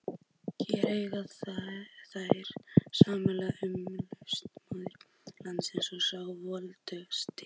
Hér eiga þeir samleið, umkomulausasti maður landsins og sá voldugasti.